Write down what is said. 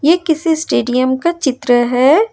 यह किसी स्टेडियम का चित्र है।